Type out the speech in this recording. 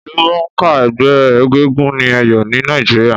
Ìlúmònká ẹgbẹ́ egúngún ni Èyò ni Naíjiria